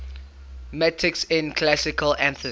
metics in classical athens